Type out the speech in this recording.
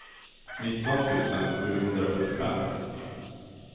nitton tusen sjuhundrasjuttiofem